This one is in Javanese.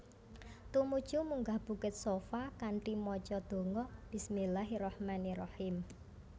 Tumuju munggah bukit Shafa kanthi maca donga Bismillahirrahmanirrahim